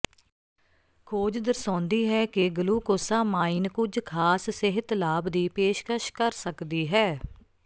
ਖੋਜ ਦਰਸਾਉਂਦੀ ਹੈ ਕਿ ਗਲੂਕੋਸਾਮਾਈਨ ਕੁਝ ਖਾਸ ਸਿਹਤ ਲਾਭ ਦੀ ਪੇਸ਼ਕਸ਼ ਕਰ ਸਕਦੀ ਹੈ